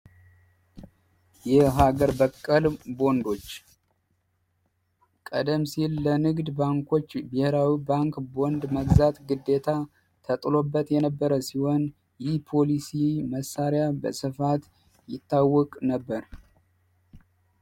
የሀገር በቀል ቦንዶች ቀደም ሲል ለንግድ ባንኮች ብሄራዊ ባንክ ቦንድ መግዛት ግዴታ ተጥሎበት የነበረ ሲሆን፤ ይህ ፖሊሲ መሳሪያ በሰፋት ይታወቅ ነበር።